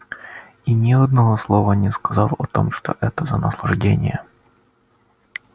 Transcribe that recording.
и ни одного слова не сказал о том что это за наслаждение